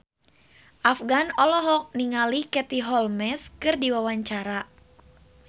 Afgan olohok ningali Katie Holmes keur diwawancara